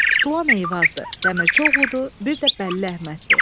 Tutulan Eyvazdır, Dəmirçioğludur, bir də Bəlli Əhməddir.